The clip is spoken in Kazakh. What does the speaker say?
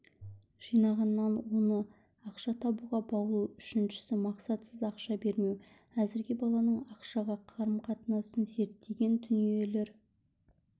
жинағаннан оны ақша табуға баулу үшіншісі мақсатсыз ақша бермеу әзірге баланың ақшаға қарым-қатынасын зерттеген дүниелер